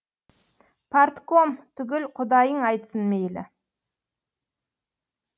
партком түгіл құдайың айтсын мейлі